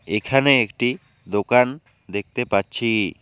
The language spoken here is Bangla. এখানে একটি দোকান দেখতে পাচ্ছি।